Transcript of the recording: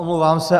Omlouvám se.